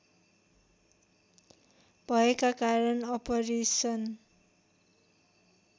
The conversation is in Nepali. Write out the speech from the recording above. भएका कारण अपरेसन